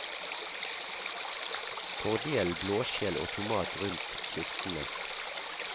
Fordel blåskjell og tomat rundt kistene.